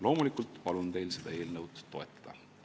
Loomulikult palun teil seda eelnõu toetada.